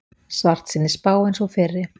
Svartsýnni spá en sú fyrri